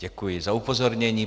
Děkuji za upozornění.